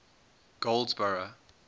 goldsboro